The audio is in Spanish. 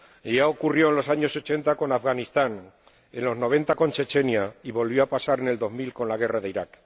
Ya ocurrió en los años ochenta con Afganistán, en los noventa con Chechenia y volvió a pasar en la década de 2000 con la guerra de Irak.